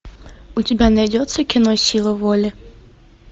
у тебя найдется кино сила воли